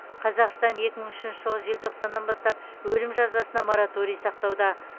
қазақстан екі мың үшінші жылғы желтоқсаннан бастап өлім жазасына мораторий сақтауда